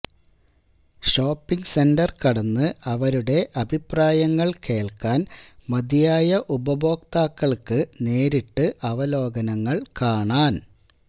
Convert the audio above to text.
shopping centre കടന്നു അവരുടെ അഭിപ്രായങ്ങൾ കേൾക്കാൻ മതിയായ ഉപഭോക്താക്കൾക്ക് നേരിട്ട് അവലോകനങ്ങൾ കാണാൻ